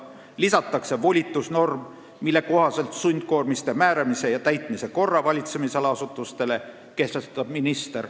Lisatakse ka volitusnorm, mille kohaselt sundkoormiste määramise ja täitmise korra valitsemisala asutustele kehtestab minister.